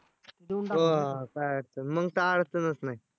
मग काय अडचणच नाही.